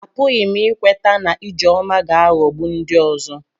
Apụghị m ikweta na Ijeoma ga-aghọgbu ndị ọzọ.